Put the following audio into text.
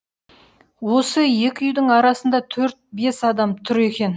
осы екі үйдің арасында төрт бес адам тұр екен